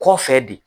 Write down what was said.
Kɔfɛ de